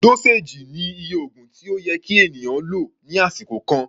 Dóséèjì ni iye oògùn tí ó yẹ kí ènìyàn lò ní àsìkò kan.